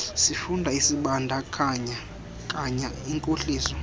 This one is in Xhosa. sifundo esibandakanya inkohliso